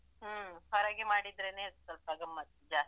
ಹ್ಮ್ ಹೊರಗೆ ಮಾಡಿದ್ರೇನೆ ಸ್ವಲ್ಪ ಗಮ್ಮತ್ ಜಾಸ್ತಿ.